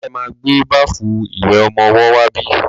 Ṣe ma gbé báfù ìwẹ̀ ọmọwọ́ wá bí?